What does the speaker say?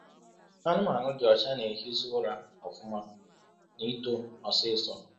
Anụmanụ dị ọcha na-ehizi ụra ọfụma na ito ọsịsọ.